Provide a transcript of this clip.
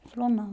Ele falou, não.